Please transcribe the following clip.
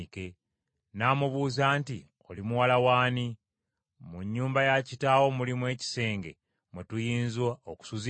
N’amubuuza nti, “Oli muwala w’ani? Mu nnyumba ya kitaawo mulimu ekisenge mwe tuyinza okusuzibwa?”